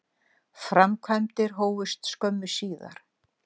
Framkvæmdir hófust skömmu síðar.